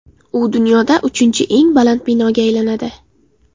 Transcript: U dunyoda uchinchi eng baland binoga aylanadi.